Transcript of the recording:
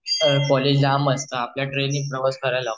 college लांब असतं आपल्याला ट्रेनने प्रवास करायाला लागतो